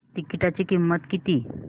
तिकीटाची किंमत किती